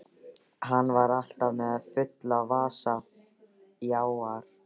Hann var alltaf með fulla vasa fjár.